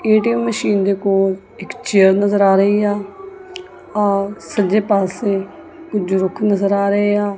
ATM ਮਸ਼ੀਨ ਦੇ ਕੋਲ ਇੱਕ ਚੇਅਰ ਨਜ਼ਰ ਆ ਰਹੀ ਆ ਸੱਜੇ ਪਾਸੇ ਕੁਝ ਰੁੱਖ ਨਜ਼ਰ ਆ ਰਹੇ ਆ।